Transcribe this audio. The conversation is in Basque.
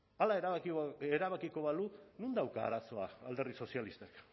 hala erabaki erabakiko balu non dauka arazoa alderdi sozialistak